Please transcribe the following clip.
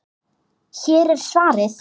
Hér er svarið.